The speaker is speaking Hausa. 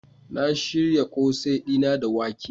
Na shirya kose dina da wake.